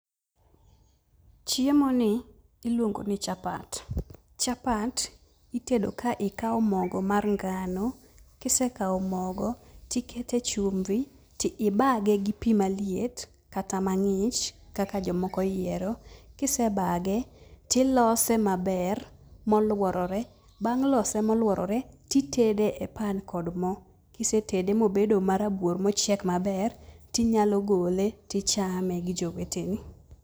Chiemoni iluongo ni chapat. Chapat itedo ka ikawo mogo mar ngano, kisekawo mogo, tikete chumbi, tibage gi pi maliet kata mang'ich kaka jomoko oyiero. Kisebage, tilose maber moluorore. Bang' lose moluorore titede e pan kod mo, kisetede mobedo marabuor mochiek maber, tinyalo gole, tichame gijoweteni.